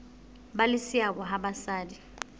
ba le seabo ha basadi